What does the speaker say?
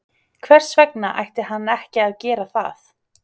Hvers vegna ætti hann ekki að gera það?